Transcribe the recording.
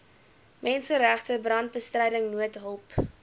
menseregte brandbestryding noodhulp